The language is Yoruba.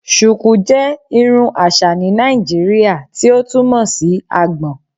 Shuku jẹ irun aṣa ni Naijiria ti o túmọ si agbòn